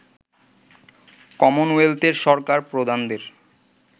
কমনওয়েলথের সরকার প্রধানদের